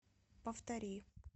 повтори